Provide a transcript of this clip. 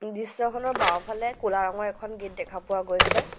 দৃশ্যখনৰ বাওঁফালে ক'লা ৰঙৰ এখন গেট দেখা পোৱা গৈছে।